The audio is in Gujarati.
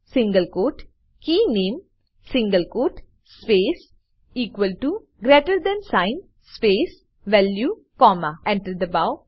સિંગલ ક્વોટ કે નામે single quote space equal to greater than sign space value comma Enter દબાઓ